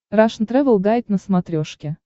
рашн тревел гайд на смотрешке